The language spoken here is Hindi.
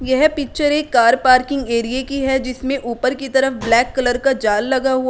यह पिक्चर एक कार पार्किंग एरिये की है जिसमें ऊपर की तरफ ब्लैक कलर का जाल लगा हुआ है।